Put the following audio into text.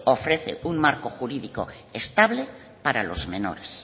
ofrece un marco jurídico estable para los menores